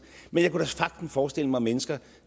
men jeg kan sagtens forestille mig mennesker